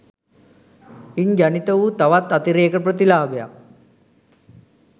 ඉන් ජනිත වූ තවත් අතිරේක ප්‍රතිලාභයක්